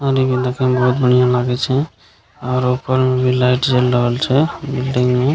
पानी भी बहुत बढ़ियाँ लागे छै और ऊपर मे भी लाइट जल रहल छै बिल्डिंग में --